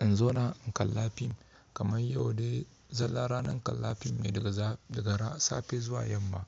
in zauna in kalla fim kamar yau dai zalla ranar kalla fim ne daga gara safe zuwa yamma.